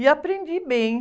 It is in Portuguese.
E aprendi bem.